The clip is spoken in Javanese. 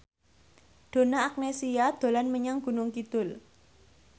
Donna Agnesia dolan menyang Gunung Kidul